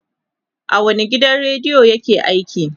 a wani gidan radiyo yake aiki?